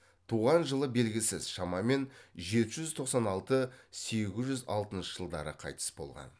туған жылы белгісіз шамамен жеті жүз тоқсан алты сегіз жүз алтыншы жылдары қайтыс болған